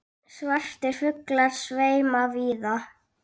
Svartir fuglar sveima víða.